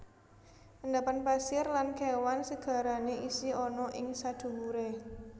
Endapan pasir lan kewan segarane isih ana ing sadhuwure